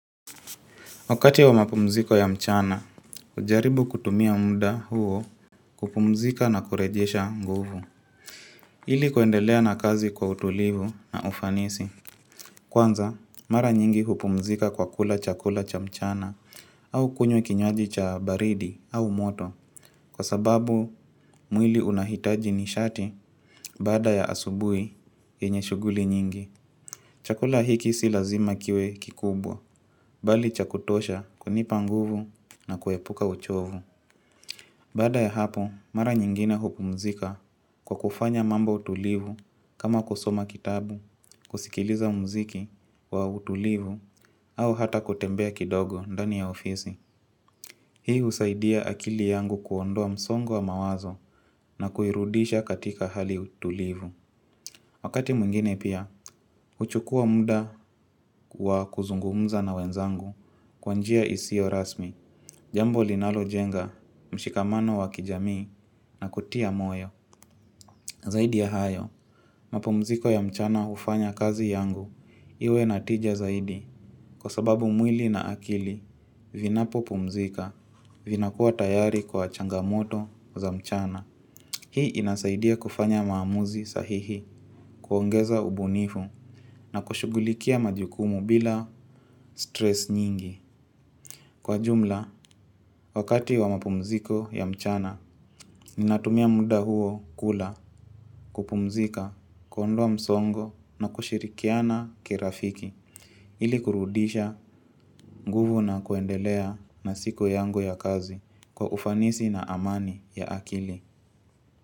Wakati wa mapumziko ya mchana, hujaribu kutumia muda huo kupumzika na kurejesha nguvu. Ili kuendelea na kazi kwa utulivu na ufanisi. Kwanza, mara nyingi kupumzika kwa kula chakula cha mchana au kunywa kinywaji cha baridi au moto. Kwa sababu, mwili unahitaji nishati baada ya asubuhi yenye shughuli nyingi. Chakula hiki si lazima kiwe kikubwa, bali cha kutosha kunipa nguvu na kuepuka uchovu. Baada ya hapo, mara nyingine hupumzika kwa kufanya mambo tulivu kama kusoma kitabu, kusikiliza muziki wa utulivu au hata kutembea kidogo ndani ya ofisi. Hii husaidia akili yangu kuondoa msongo wa mawazo na kuirudisha katika hali ya utulivu. Wakati mwingine pia, huchukua muda wa kuzungumza na wenzangu kwa njia isio rasmi, jambo linalojenga, mshikamano wa kijamii na kutia moyo. Zaidi ya hayo, mapumziko ya mchana ufanya kazi yangu, iwe na tija zaidi, kwa sababu mwili na akili, vinapopumzika, vinakuwa tayari kwa changamoto za mchana. Hii inasaidia kufanya maamuzi sahihi kuongeza ubunifu na kushughulikia majukumu bila stress nyingi. Kwa jumla, wakati wa mapumziko ya mchana, ninatumia muda huo kula kupumzika kuondoa msongo na kushirikiana kirafiki. Ili kurudisha, nguvu na kuendelea na siku yangu ya kazi kwa ufanisi na amani ya akili.